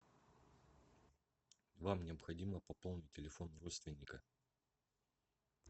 вам необходимо пополнить телефон родственника